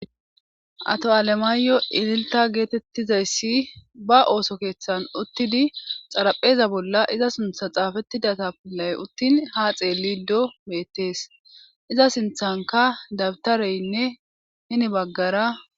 Ato7alemaayo ililta geetettizayssi ba ooso keeththan uttidi xarapheza bolla iza sintha xaafettidata pillay uttin ha xeelido beettees iza sinthanka dabtareynne hini baggara.